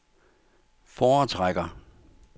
foretrækker